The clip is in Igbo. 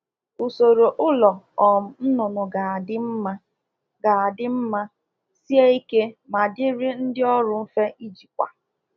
Usoro ọrụrụ ụlọ ọkụkọ kwesịrị inye nchekwa, sie ike ma dịkwa mfe nye ndị ọrụ na elekọta ha